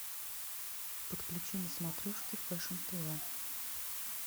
подключи на смотрешке фэшн тв